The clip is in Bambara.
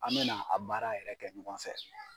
An bɛ na a baara yɛrɛ kɛ ɲɔgɔn fɛ.